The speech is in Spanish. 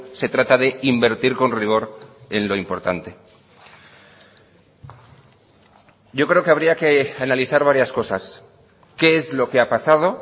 se trata de invertir con rigor en lo importante yo creo que habría que analizar varias cosas qué es lo que ha pasado